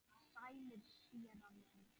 Sælir, séra minn.